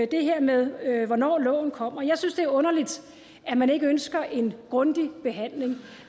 det her med hvornår loven kommer jeg synes det er underligt at man ikke ønsker en grundig behandling